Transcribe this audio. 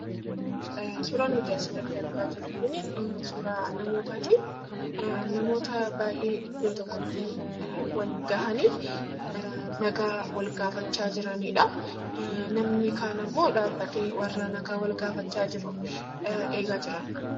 Suuraan nuti asirratti argaa jirru kunii suuraa namootaati. Namoota baay'ee iddoo tokkottii wal gahanii nagaa wal gaafachaa jiranidhaa. Namni kaan ammoo dhaabbatee warra nagaa wal gaafachaa jiru eegaa jira.